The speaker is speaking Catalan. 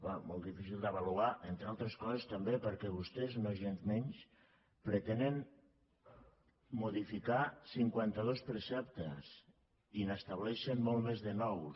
bé molt difícil d’avaluar entre altres coses també perquè vostès nogensmenys pretenen modificar cinquanta dos preceptes i n’estableixen molts més de nous